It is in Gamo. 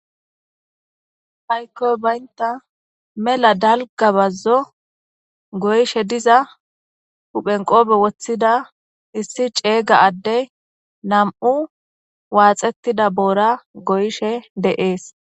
Haykkoy baynta mela dalga bazzo goyshe diza huphenqopbe woththida issi ceeyga adde nam7u waaxettida boora goyshe de7ees.